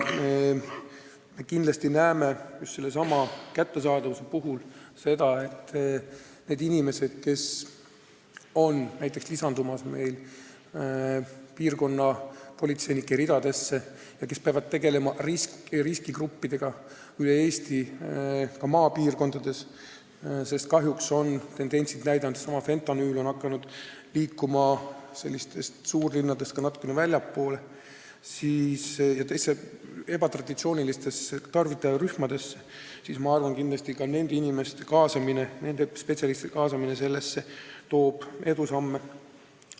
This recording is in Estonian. Me näeme just sellesama kättesaadavuse puhul seda, et nende inimeste kaasamine, kes on astumas piirkonnapolitseinike ridadesse ja peavad tegelema riskigruppidega üle Eesti, ka maapiirkondades – sest kahjuks on tendentsid näidanud, et seesama fentanüül on hakanud liikuma suurlinnadest natukene väljapoole ja ka ebatraditsioonilistesse tarvitajarühmadesse –, nende spetsialistide kaasamine toob edusamme.